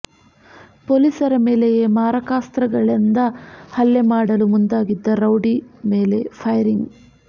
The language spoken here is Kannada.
ಪೊಲೀಸರ ಮೇಲೆಯೇ ಮಾರಕಾಸ್ತ್ರಗಳಿಂದ ಹಲ್ಲೆ ಮಾಡಲು ಮುಂದಾಗಿದ್ದ ರೌಡಿ ಮೇಲೆ ಫೈರಿಂಗ್